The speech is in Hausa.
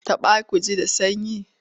Taɓa ki ji da sanyi?